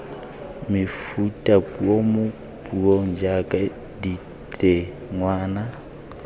mefutapuo mo puong jaaka ditengwana